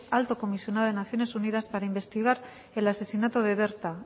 alto comisionado de naciones unidas para investigar el asesinato de berta